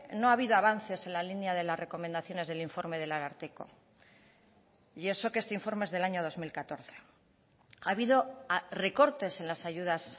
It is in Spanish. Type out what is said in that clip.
no ha habido avances en la línea de las recomendaciones del informe del ararteko y eso que este informe es del año dos mil catorce ha habido recortes en las ayudas